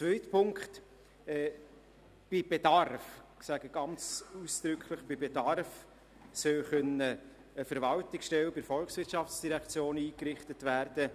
Zweitens soll bei Bedarf – ich sage ausdrücklich: bei Bedarf – eine Verwaltungsstelle bei der VOL eingerichtet werden,